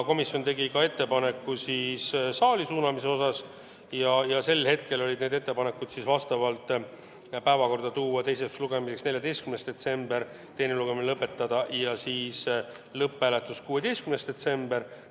Komisjon tegi ka ettepaneku eelnõu saali suunamise kohta ja need ettepanekud olid tol hetkel järgmised: võtta eelnõu teiseks lugemiseks päevakorda 14. detsembriks ja teine lugemine lõpetada ning korraldada lõpphääletus 16. detsembril.